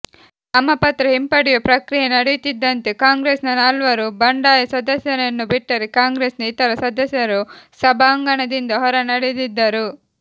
ನಾಮಪತ್ರ ಹಿಂಪಡೆಯುವ ಪ್ರಕ್ರಿಯೆ ನಡೆಯುತ್ತಿದ್ದಂತೆ ಕಾಂಗ್ರೆಸ್ನ ನಾಲ್ವರು ಬಂಡಾಯ ಸದಸ್ಯರನ್ನು ಬಿಟ್ಟರೆ ಕಾಂಗ್ರೆಸ್ನ ಇತರ ಸದಸ್ಯರು ಸಭಾಂಗಣದಿಂದ ಹೊರ ನಡೆದಿದ್ದರು